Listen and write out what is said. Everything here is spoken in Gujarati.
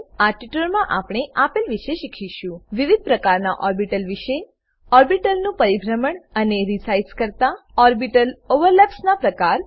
આ ટ્યુટોરીયલમાં આપણે આપેલ વિશે શીખીશું વિવિધ પ્રકારના ઓર્બીટલ વિષે ઓર્બીટલ નું પરિભ્રમણ અને રીસાઈઝ કરતા ઓર્બીટલ ઓવરલેપ્સ ના પ્રકાર